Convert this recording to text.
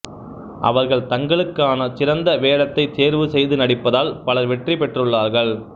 அவர்கள் தங்களுக்கான சிறந்த வேடத்தை தேர்வு செய்து நடிப்பதால் பலர் வெற்றி பெற்றுள்ளார்கள்